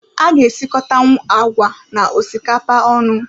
A ga-esikotanwu agwa na osikapa onu